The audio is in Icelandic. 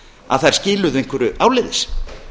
að þær skiluðu einhverju áleiðis